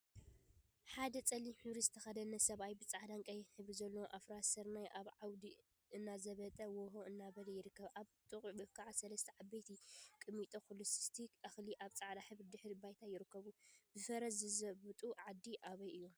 ሓደ ፀሊም ሕብሪ ዝተከደነ ሰብአይ ብፃዕዳን ቀይሕን ሕብሪ ዘለዎም አፍራስ ስርናይ አብ ዓውዲ እናዘበጠ/ዎሆ እናበለ ይርከብ፡፡ አብ ጥቅኡ ከዓ ሰለስተ ዓበይቲ ቁሚጦ/ኩልስስቲ እክሊ አብ ፃዕዳ ሕብሪ ድሕረ ባይታ ይርከቡ፡፡ ብፈረስ ዝዘብጡ ዓዲ አበይ እዮም?